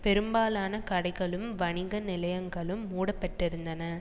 பெரும்பாலான கடைகளும் வணிக நிலையங்களும் மூடப்பட்டிருந்தன